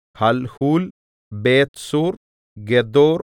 Halhul Bethzur ഗെദോർ